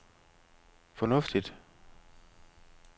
fornuftigt